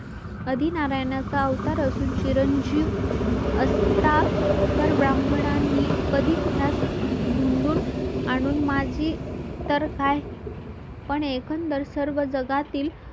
आदि नारायण चा अवतार असून चिरंजीव असता तर ब्राह्मणांनीं कधीच त्यास धूंदून आणून माझी तर काय पण एकंदर सर्व जगातील